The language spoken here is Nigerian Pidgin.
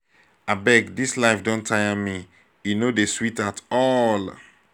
abeg dis life don tire me e no dey sweet at all